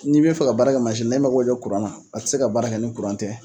N'i b'i fɛ ka baara kɛ mansi la i mako bɛ kuran na, a tɛ se ka baara kɛ ni kuran tɛ.